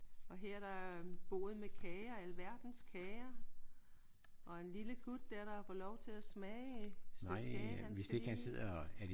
Og her er der en bod med kager. Alverdens kager. Og en lille gut der der har fået lov til at smage et stykke kage. Han skal lige